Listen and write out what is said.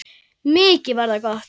Mikið var það gott.